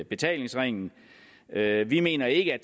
betalingsringen vi mener ikke at